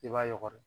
I b'a yɔgɔri